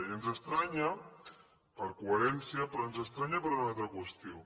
i ens estranya per coherència però ens estranya per u na altra qüestió